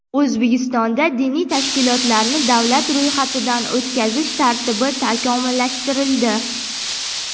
O‘zbekistonda diniy tashkilotlarni davlat ro‘yxatidan o‘tkazish tartibi takomillashtirildi.